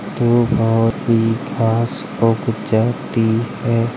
धूप और घांस को गुजरती है।